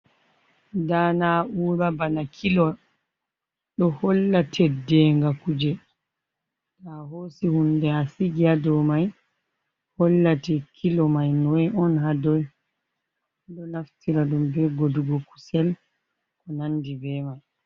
Nda na'ura bana kilo, ɗo holla teddenga kuje. To a hosi hunde a sigi ha dou mai, hollate kilo mai noi on ha doi. Ɓe ɗo naftira ɗum be godugo kusel, ko nandi be mai.